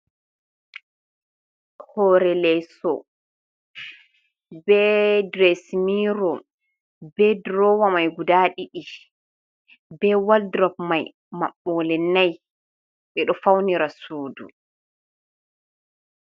Hoore leeso, be diresin miiro, be durowa mai guda ɗiɗi, be walduruf mai maɓɓole n'ai, ɓe ɗo faunira suudu.